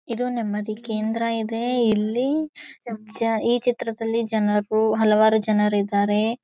ಇದು ನಮ್ಮದಿ ಕೇಂದ್ರ ಇದೆ ಇಲ್ಲಿ ಜ ಈ ಚಿತ್ರದಲ್ಲಿ ಜನರು ಹಲವಾರು ಜನರಿದ್ದಾರೆ.